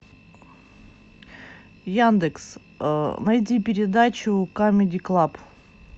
яндекс найди передачу камеди клаб